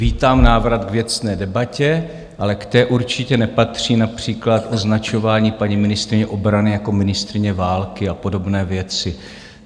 Vítám návrat k věcné debatě, ale k té určitě nepatří například označování paní ministryně obrany jako ministryně války a podobné věci.